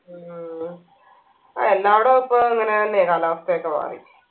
ഉം ആ എല്ലാ ഇടം ഇപ്പൊ ഇങ്ങനന്നെയാ കാലാവസ്ഥയൊക്കെ മാറി